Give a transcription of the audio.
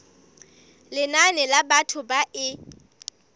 lenane la batho ba e